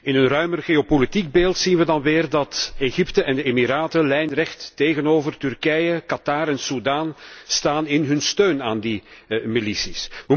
In een ruimer geopolitiek beeld zien wij dan weer dat Egypte en de Emiraten lijnrecht tegenover Turkije, Quatar en Soedan staan in hun steun aan die milities.